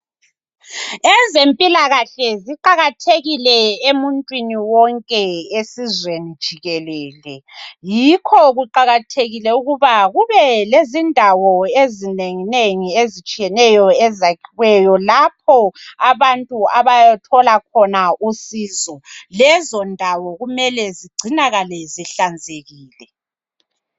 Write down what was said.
Ezempilakahle ziqakathekile emuntwini wonke esizweni jikelele. Yikho kuqakathekile ukuba kube kubelendawo ezinengi lapho abantu abayathola khona usizo. Lezondawo kumele zigcinakale zihlanzekile.